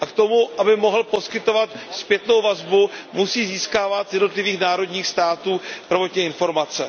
A k tomu, aby mohl poskytovat zpětnou vazbu, musí získávat z jednotlivých národních států prvotně informace.